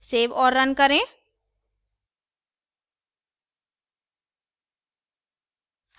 save और run करें